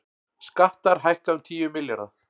Skattar hækka um tíu milljarða